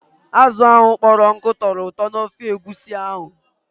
Azụ ahụ kpọrọ nkụ tọrọ ụtọ n'ofe egusi ahụ.